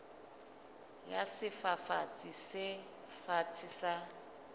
ya sefafatsi se fatshe sa